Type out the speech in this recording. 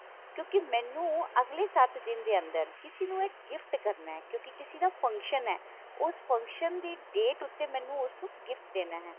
ਕਿਉਂਕਿ ਮੈਨੂੰ ਅਗਲੇ ਸੱਤ ਦਿਨ ਦੇ ਅੰਦਰ ਕਿਸੇ ਨੂੰ ਇਹ gift ਕਰਨਾ ਹੈ ਕਿਉਂਕਿ ਕਿਸੇ ਦਾ function ਹੈ ਉਸ function ਦੀ date ਉੱਤੇ ਮੈਨੂੰ ਉਸ ਨੂੰ gift ਦੇਣਾ ਹੈ